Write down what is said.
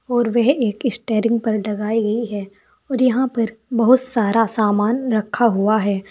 और वह एक ही स्टेयरिंग पर डगाई गई है और यहां पर बहुत सारा सामान रखा हुआ है।